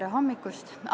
Tere hommikust!